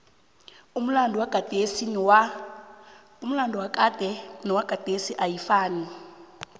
umlado wakade nowagadesi ayifanai